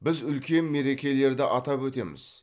біз үлкен мерекелерді атап өтеміз